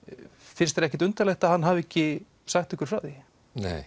finnst þér ekkert undarlegt að hann hafi ekki sagt ykkur frá því nei